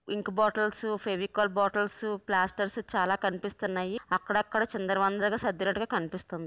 ఇంక్ bottles Fevicol bottles plasters చాలా కనిపిస్తున్నాయి. అక్కడక్కడ చిందర వందరగా సద్దినట్టుగా కనిపిస్తుంది.